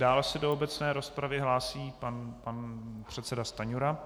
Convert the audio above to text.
Dále se do obecné rozpravy hlásí pan předseda Stanjura.